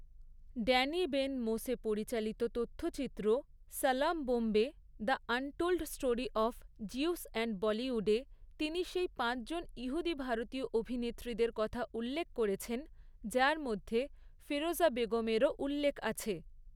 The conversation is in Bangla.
ড্যানি বেন মোশে পরিচালিত তথ্যচিত্র, 'Salaam Bombay the untold story of Jews and বলিউডে', তিনি সেই পাঁচজন ইহুদি ভারতীয় অভিনেত্রীদের কথা উল্লেখ করেছেন, যার মধ্যে ফিরোজা বেগমেরও উল্লেখ আছে।